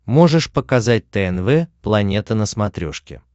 можешь показать тнв планета на смотрешке